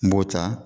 N b'o ta